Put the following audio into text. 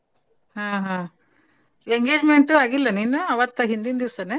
ಹಾ ಹಾ engagement ಆಗಿಲ್ಲನು ಇನ್ನೂ ಅವತ್ತ ಹಿಂದಿನ್ದಿಸನ?